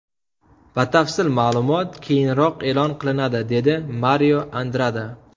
Batafsil ma’lumot keyinroq e’lon qilinadi”, – dedi Mario Andrada.